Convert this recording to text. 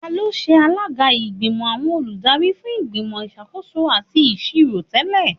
Tani o ṣe alaga igbimọ awọn oludari fun Igbimọ Isakoso ati Iṣiro tẹlẹ?